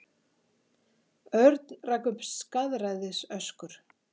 Örn rak upp skaðræðisöskur.